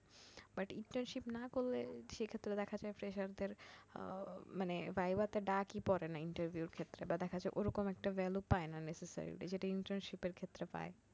but internship না করলে সেক্ষেত্রে দেখা যায় freshers দের আহ মানে ভাইবা তে ডাক ই পড়ে না interview এর ক্ষেত্রে বা দেখা যার ওরকম একটা value পায় না necessary যেটা internship এর ক্ষেত্রে পায়